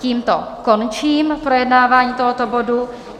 Tímto končím projednávání tohoto bodu.